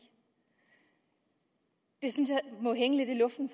det synes jeg må hænge lidt i luften